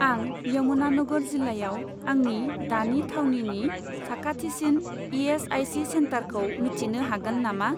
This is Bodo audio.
आं यमुनानगर जिल्लायाव आंनि दानि थावनिनि साखाथिसिन इ.एस.आइ.सि. सेन्टारखौ मिथिनो हागोन नामा?